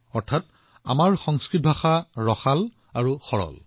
অৰ্থাৎ আমাৰ সংস্কৃত ভাষা সৰসো আৰু সৰলো